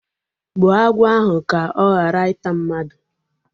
Gbuo agwọ ahụ ka ọ ghara ịta mmadụ!